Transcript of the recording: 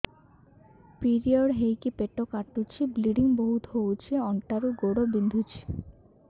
period ହୋଇକି ପେଟ କାଟୁଛି ବ୍ଲିଡ଼ିଙ୍ଗ ବହୁତ ହଉଚି ଅଣ୍ଟା ରୁ ଗୋଡ ବିନ୍ଧୁଛି